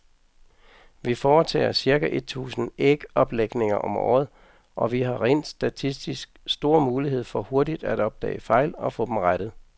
Vi foretager cirka et tusind ægoplægninger om året, og vi har rent statistisk stor mulighed for hurtigt at opdage fejl og få dem rettet.